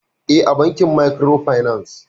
E, a bankin Mariko fanas